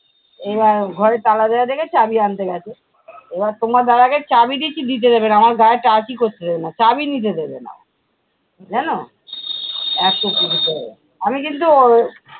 এবার ঘরে তালা দেওয়া দেখে চাবি আনতে গেছে। এবার তোমার দাদাকে চাবি দিচ্ছি দিতে দেবে না, আমার গায়ে touch ই করতে দেবে না, চাবি নিতে দেবে না ও। জানো এতো । আমি কিন্তু ওর